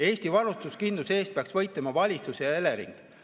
Eesti varustuskindluse eest peaks võitlema valitsus ja Elering.